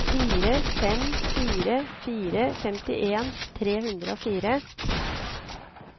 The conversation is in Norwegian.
fire fem fire fire femtien tre hundre og fire